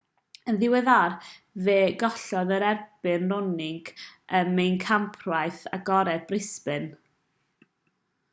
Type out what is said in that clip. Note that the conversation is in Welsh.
yn ddiweddar fe gollodd yn erbyn raonic ym mhencampwriaeth agored brisbane